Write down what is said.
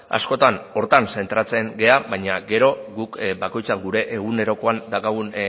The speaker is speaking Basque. askotan horretan zentratzen gara baina gero guk bakoitzak gure egunerokoan daukagun